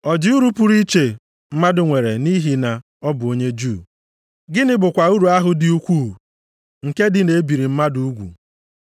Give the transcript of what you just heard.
Ọ dị uru pụrụ iche mmadụ nwere nʼihi na ọ bụ onye Juu? Gịnị bụkwa uru ahụ dị ukwuu nke dị na-ebiri mmadụ ugwu?